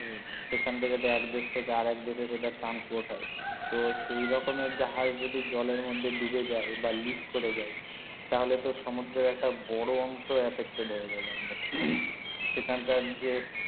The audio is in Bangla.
সেখান থেকে তো এক দেশ থেকে আরেক দেশে যেটা transport হয় তো সেই রকমের জাহাজ যদি জলের মধ্যে দুবে যায় বা লিক করে যায় তা হলে তো সমুদ্রে একটা বড় অংশ infected হয়ে যাবে একদম সেখান কার যে